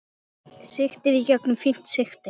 Sigtið í gegnum fínt sigti.